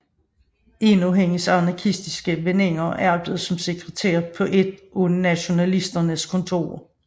En af hendes anarkistiske veninder arbejdede som sekretær på et af nationalsocialisternes kontorer